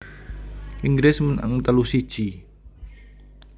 Inggris menang telu siji